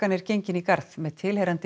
er gengin í garð með tilheyrandi